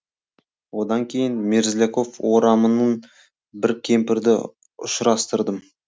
одан кейін мерзляков орамының бір кемпірді ұшырастырдым